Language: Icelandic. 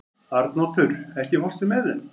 Arnoddur, ekki fórstu með þeim?